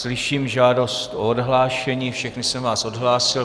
Slyším žádost o odhlášení, všechny jsem vás odhlásil.